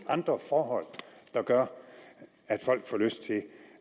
andre forhold der gør at folk får lyst til